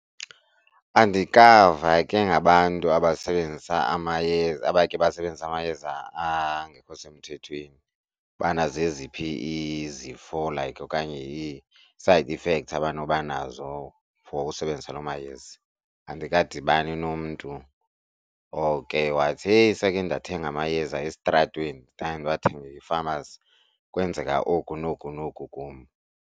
Andikava ke ngabantu abasebenzisa amayeza abakhe basebenzisa amayeza angekho semthethweni ubana zeziphi izifo like okanye ii-side effects abano banazo for usebenzisa loo mayeza. Andikadibani nomntu oke wathi, heyi sekhe ndathenga amayeza esitratweni zange ndiwathenge e-pharmacy kwenzeka oku noku noku kum.